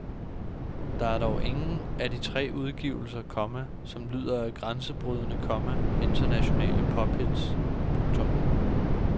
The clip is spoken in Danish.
Der er dog ingen af de tre udgivelser, komma som lyder af grænsebrydende, komma internationale pophits. punktum